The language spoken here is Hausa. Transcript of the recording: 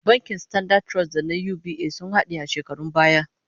Bankin Standard Trust da na UBA sun hade a shekarun baya